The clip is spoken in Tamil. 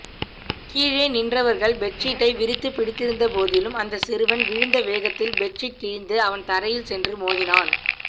கீழே நின்றவர்கள் பெட்ஷீட்டை விரித்துப் பிடித்திருந்தபோதிலும் அந்த சிறுவன் விழுந்த வேகத்தில் பெட்ஷீட் கிழிந்து அவன் தரையில் சென்று மோதினான்